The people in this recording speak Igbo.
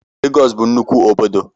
Lagos bu nnukwu obodo